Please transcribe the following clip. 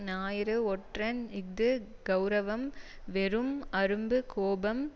ஞாயிறு ஒற்றன் இஃது கெளரவம் வெறும் அரும்பு கோபம்